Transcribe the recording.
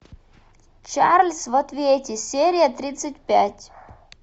чарльз в ответе серия тридцать пять